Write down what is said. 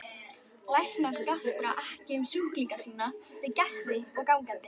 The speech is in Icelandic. Læknar gaspra ekki um sjúklinga sína við gesti og gangandi.